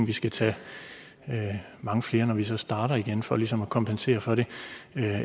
vi skal tage mange flere når vi så starter igen for ligesom at kompensere for det